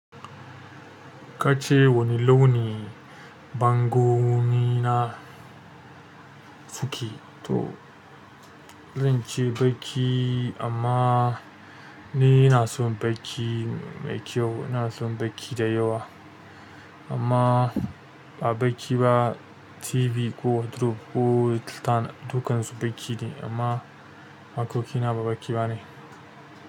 Kace wane launi bangonina suke to zan ce baki amma ni ina son baki mai kyau. Ina son baƙi da yawa amma ba baki ba. TV ko wardrobe ko liltan dukansu ɗaki ne amma harkokina ba baki bane.